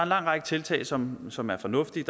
lang række tiltag som som er fornuftige